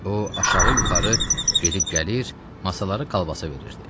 O aşağı-yuxarı gedib gəlir, masaları kalbasa verirdi.